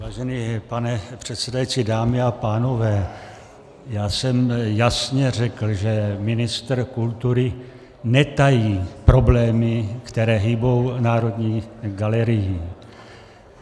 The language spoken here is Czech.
Vážený pane předsedající, dámy a pánové, já jsem jasně řekl, že ministr kultury netají problémy, které hýbou Národní galerií.